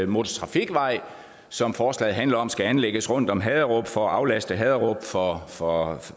motortrafikvej som forslaget handler om skal anlægges rundt om haderup for at aflaste haderup for for